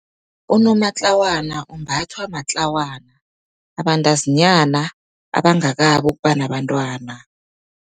Unomatlawana umbathwa matlawana, abantazinyana abangakabi ukuba nabantwana.